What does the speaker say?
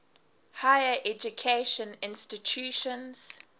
higher education institutions